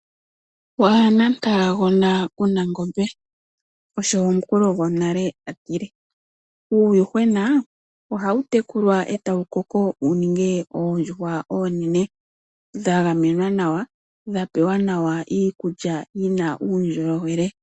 Waana mupagona kuna ongombe. Osho omukulu gonale atile. Uuyuhwena ohawu tekulwa etawu koko wuninge oondjuhwa oonene dha gamenwa nawa dha pewa iikulya yina uundjolowele.